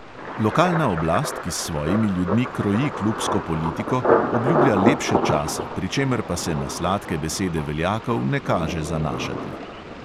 Lokalna oblast, ki s svojimi ljudmi kroji klubsko politiko, obljublja lepše čase, pri čemer pa se na sladke besede veljakov ne kaže zanašati.